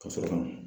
Ka sɔrɔ ka